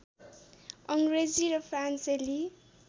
अङ्ग्रेजी र फ्रान्सेली